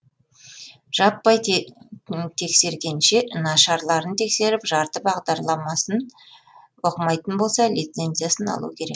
жаппай тексергенше нашарларын тексеріп жарты бағдарламасын оқымайтын болса лицензиясын алу керек